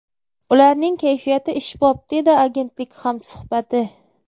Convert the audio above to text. Ularning kayfiyati ishbop””, dedi agentlik hamsuhbati.